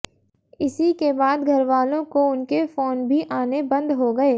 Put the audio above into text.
इसी के बाद घरवालों को उनके फोन भी आने बंद हो गए